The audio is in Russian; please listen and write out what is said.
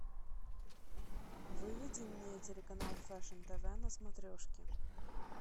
выведи мне телеканал фэшн тв на смотрешке